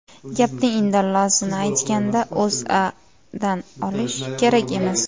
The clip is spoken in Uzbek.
Gapning indallosini aytganda, O‘zAdan olish kerak emas.